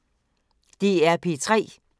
DR P3